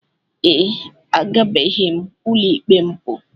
Ee, agabeghi m ụlọikpe mbụ.